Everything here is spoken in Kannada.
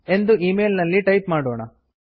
ಎಂದು ಮೇಲ್ ನಲ್ಲಿ ಟೈಪ್ ಮಾಡೋಣ